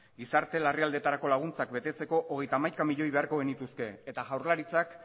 gizarte larrialdietarako laguntzak betetzeko hogeita hamaika miloi beharko genituzke eta jaurlaritzak